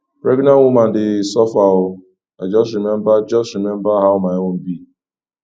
pregnant women dey suffer o i just rememba just rememba how my own be